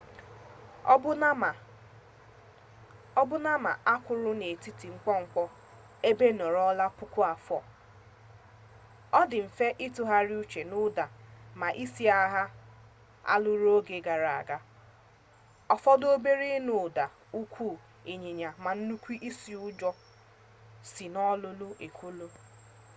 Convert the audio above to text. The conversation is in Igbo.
ọbụna ma akwụrụ n'etiti mkpọmkpọ ebe nọrọla puku afọ ọ dị mfe itụgharị uche n'ụda ma isi agha a lụrụ oge gara aga ọ fọdụ obere ịnụ ụda ụkwụ ịnyịnya ma nụkwa isi ụjọ si n'olulu ekuli